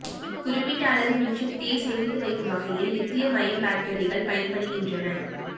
குறிப்பிட்ட அளவு மின்சக்தியை சேமித்து வைக்கும் வகையில் லித்தியம் அயன் பேட்டரிகள் பயன்படுகின்றன